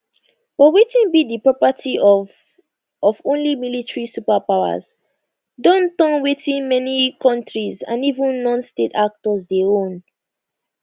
but wetin be di property of of only military superpowers don turn wetin many kontris and even nonstate actors dey own